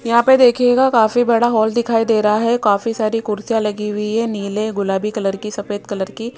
यहां पे देखियेगा काफी बड़ा हॉल दिखाई दे रहा है काफी सारी कुर्सियां लगी हुई है नीले गुलाबी कलर की सफेद कलर की।